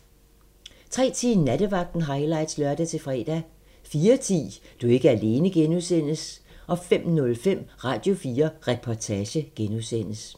03:10: Nattevagten highlights (lør-fre) 04:10: Du er ikke alene (G) 05:05: Radio4 Reportage (G)